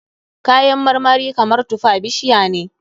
Kayan marmari kamar tufa bishiya ne.